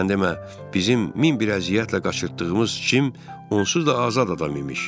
Sən demə, bizim min bir əziyyətlə qaçırtdığımız Cim onsuz da azad adam imiş.